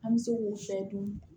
An bɛ se k'u sɛdun